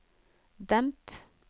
demp